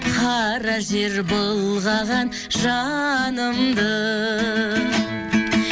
қара жер былғаған жанымды